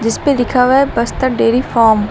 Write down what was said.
इसपे लिखा हुआ है बस्तर डेरी फार्म ।